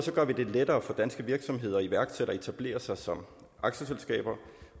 gør vi det lettere for danske virksomheder og iværksættere at etablere sig som aktieselskaber